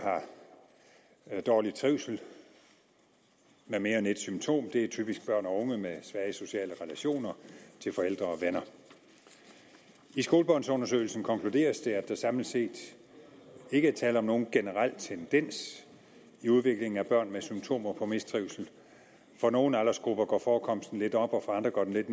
har dårlig trivsel med mere end et symptom er typisk børn og unge med svage sociale relationer til forældre og venner i skolebørnsundersøgelsen konkluderes det at der samlet set ikke er tale om nogen generel tendens i udviklingen af børn med symptomer på mistrivsel for nogle aldersgrupper går forekomsten lidt op og for andre går den lidt